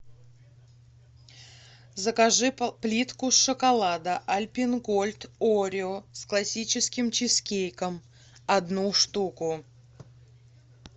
закажи плитку шоколада альпен гольд орео с классическим чизкейком одну штуку